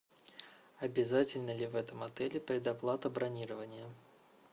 обязательна ли в этом отеле предоплата бронирования